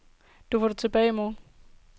Du får det tilbage i morgen.